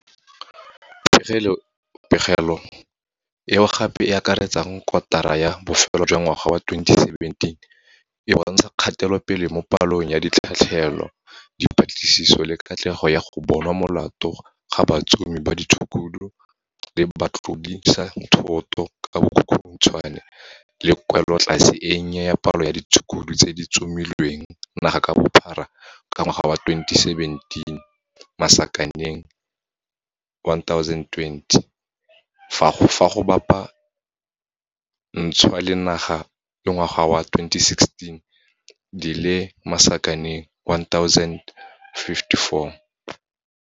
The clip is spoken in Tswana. Pegelo, eo gape e akaretsang kotara ya bofelo ya ngwaga wa 2017, e bontsha kgatelopele mo palong ya ditlhatlhelo, dipatlisiso le katlego ya go bonwa molato ga batsomi ba ditshukudu le batlodisathoto ka bokhukhuntshwane le kwelotlase e nnye ya palo ya ditshukudu tse di tsomilweng naga ka bophara ka ngwaga wa 2017, 1028, fa go bapa ntshwa le ngwaga wa 2016, 1054.